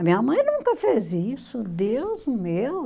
A minha mãe nunca fez isso, Deus meu.